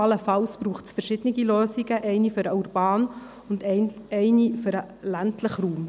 Allenfalls braucht es verschiedene Lösungen, eine für urbane und eine andere für den ländlichen Raum.